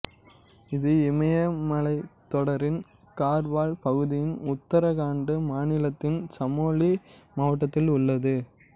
இது இமயமலைத்தொடரின் கார்வால் பகுதியில் உத்தராகண்ட் மாநிலத்தின் சமோலி மாவட்டத்தில் உள்ளது